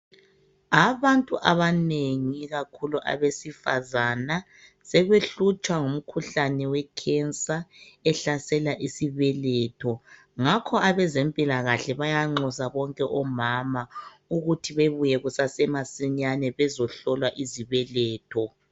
Abantu abanengi ikakhulu abesifazana sebehlutshwa ngumkhuhlane wekhensa ehlasela isibeletho. Ngakho abezempilakahle bayanxusa bonke omama ukuthi bebuye kusasemasinyane bezohlolwa izibeletho.